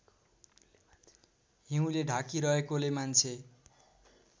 हिउँले ढाकिरहेकोले मान्छे